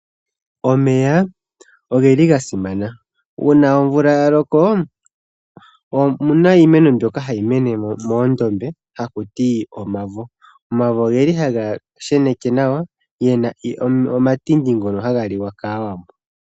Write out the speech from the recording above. Omeya ogasimana, uuna omvula yaloko opuna iimeno mbyoka hayi mene moondombe haku ti omavo. Omavo ohaga sheneke nawa, gena omatindi ngono haga liwa kaawambo.